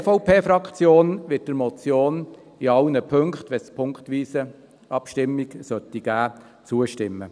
Die EVP-Fraktion wird der Motion in allen Punkten, wenn es eine punktweise Abstimmung geben sollte, zustimmen.